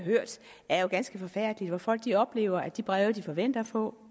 hørt er jo ganske forfærdelige folk oplever at de breve de forventer at få